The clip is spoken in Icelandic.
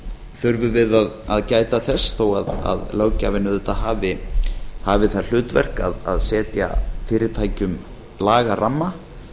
þurfum við að gæta þess þó að löggjafinn auðvitað hafi það hlutverk að setja fyrirtækjum lagaramma